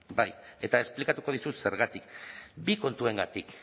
bai eta esplikatuko dizut zergatik bi kontuengatik